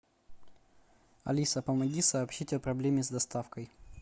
алиса помоги сообщить о проблеме с доставкой